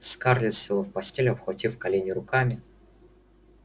скарлетт села в постели обхватив колени руками